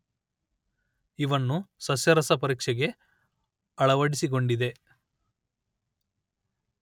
ಇವನ್ನು ಸಸ್ಯರಸ ಪರೀಕ್ಷೆಗೆ ಅಳವಡಿಸಿಗೊಂಡಿದೆ